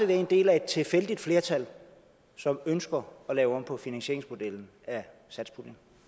være en del af et tilfældigt flertal som ønsker at lave om på finansieringsmodellen af satspuljen